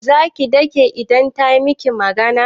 Za ki dake idan ta miki magana?